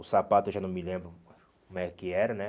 O sapato eu já não me lembro como é que era, né?